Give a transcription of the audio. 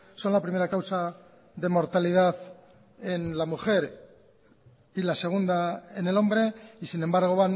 son la primera causa de mortalidad en la mujer y la segunda en el hombre y sin embargo